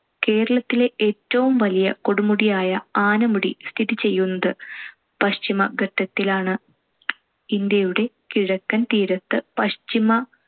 കേരളത്തിലെ ഏറ്റവും വലിയ കൊടുമുടിയായ ആനമുടി സ്ഥിതി ചെയ്യുന്നത് പശ്ചിമഘട്ടത്തിലാണ്. ഇന്ത്യയുടെ കിഴക്കൻ തീരത്ത് പശ്ചിമ